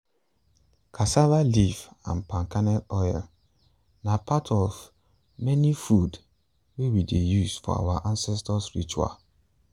cassava leaf and palm kernel oil na part of um the food wey we dey use for our ancestors’ ritual.